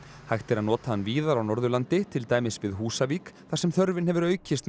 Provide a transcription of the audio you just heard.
hægt er að nota hann víðar á Norðurlandi til dæmis við Húsavík þar sem þörfin hefur aukist með